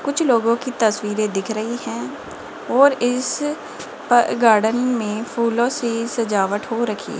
कुछ लोगों की तस्वीरें दिख रही है और इस अ गार्डन में फूलों से सजावट हो रखी --